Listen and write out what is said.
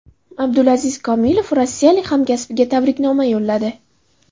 Abdulaziz Komilov rossiyalik hamkasbiga tabriknoma yo‘lladi.